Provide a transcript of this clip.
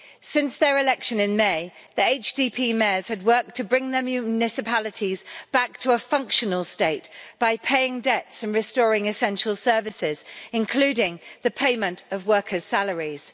Since their election in May, the HDP mayors had worked to bring their municipalities back to a functional state by paying debts and restoring essential services, including the payment of workers' salaries.